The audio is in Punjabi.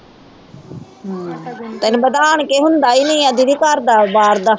ਤੈਨੂੰ ਪਤਾ ਆਣ ਕੇ ਹੁੰਦਾ ਹੀ ਨੀ ਦੀਦੀ ਘਰ ਦਾ ਬਾਹਰ ਦਾ